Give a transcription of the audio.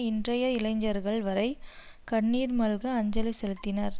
இன்றைய இளைஞர்கள் வரை கண்ணீர் மல்க அஞ்சலி செலுத்தினர்